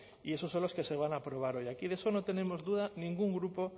y esos son los que se van a aprobar hoy aquí de eso no tenemos duda ningún grupo